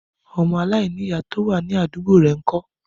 Ọmọ alainiya to wa ni adugbo rẹ n kọ?